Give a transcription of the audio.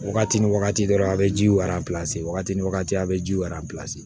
Wagati ni wagati dɔrɔn a bɛ ji wagati wagati ni wagati a bɛ ji